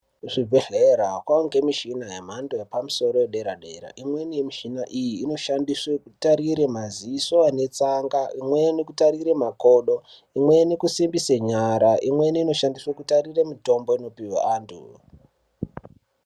Kuvibhedhlera kwaangemichina yemhando yepamusoro yedera-dera. Imweni yemichina iyi inoshandiswe kutarire maziso anetsanga. Imweni kutarire makodo. Imweni kusimbise nyara. Imweni inoshandiswe kutarire mitombo inopihwa antu.